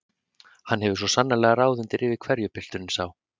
Hann hefur svo sannarlega ráð undir rifi hverju pilturinn sá!